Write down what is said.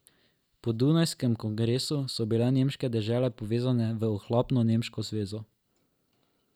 Po dunajskem kongresu so bile nemške dežele povezane v ohlapno Nemško zvezo.